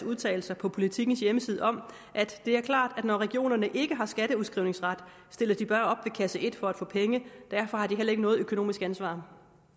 udtalelser på politikens hjemmeside om at det er klart at når regionerne ikke har skatteudskrivningsret stiller de bare op ved kasse et for at få penge derfor har de heller ikke noget økonomisk ansvar